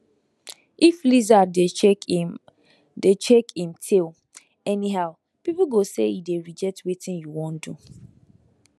if lizard dey shake im dey shake im tail anyhow people go say e dey reject wetin you wan do